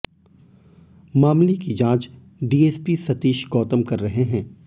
मामले की जांच डीएसपी सतीश गौतम कर रहे हैं